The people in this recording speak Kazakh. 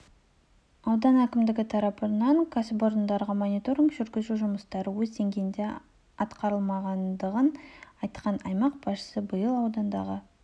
аудан әкімдігі тарапынан кәсіпорындарға мониторинг жүргізу жұмыстары өз деңгейінде атқарылмағанын айтқан аймақ басшысы биыл аудандағы